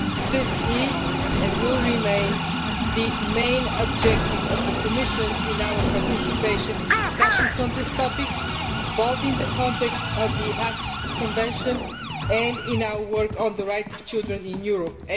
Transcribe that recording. This is, and will remain, the main objective of the Commission as we participate in discussions on this topic, both in the context of the Hague Convention and in our work on the rights of children in Europe.